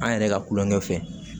An yɛrɛ ka kulonkɛ fɛ